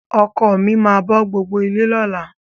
Ọkọ mi máa bọ́ gbogbo ilé lọ́la.